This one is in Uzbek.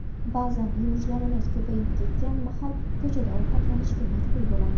Ba’zan yumushlarimiz ko‘payib ketgan mahal ko‘chada ovqatlanishga majbur bo‘lamiz.